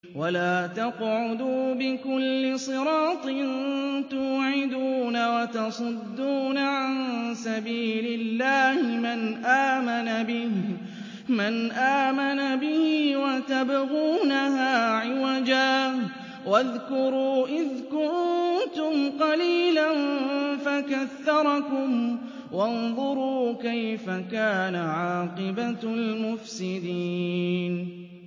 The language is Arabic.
وَلَا تَقْعُدُوا بِكُلِّ صِرَاطٍ تُوعِدُونَ وَتَصُدُّونَ عَن سَبِيلِ اللَّهِ مَنْ آمَنَ بِهِ وَتَبْغُونَهَا عِوَجًا ۚ وَاذْكُرُوا إِذْ كُنتُمْ قَلِيلًا فَكَثَّرَكُمْ ۖ وَانظُرُوا كَيْفَ كَانَ عَاقِبَةُ الْمُفْسِدِينَ